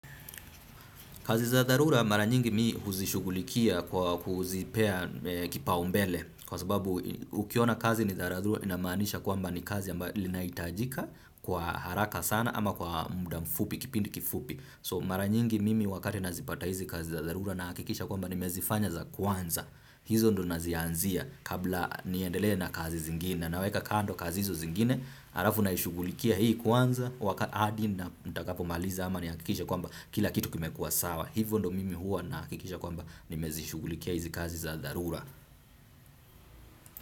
Kazi za dharura mara nyingi mi huzishugulikia kwa kuzipea kipaumbele kwa sababu ukiona kazi ni dharura inamaanisha kwamba ni kazi ambayo linahitajika kwa haraka sana ama kwa muda mfupi kipindi kifupi. So mara nyingi mimi wakati nazipata hizi kazi za dharura nahakikisha kwamba nimezifanya za kwanza. Hizo ndo nazianzia kabla niendelee na kazi zingine. Naweka kando kazi hizo zingine. Alafu naishughulikia hii kwanza waka hadi ntakapo maliza ama nihakikishe kwamba kila kitu kimekuwa sawa. Hivo ndo mimi huwa nahakikisha kwamba nimezishugulikia hizi kazi za dharura.